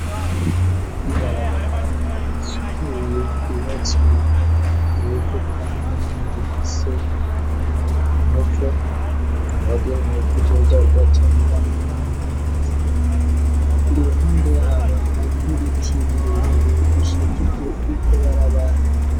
Ibarabara risukuye ryubatswe mu buryo bwa none rifise umuvu wagenewe kuzoza uratembwamwo n'amazi i ruhande yaho hariho ibiti birebire bishajije iryo barabara.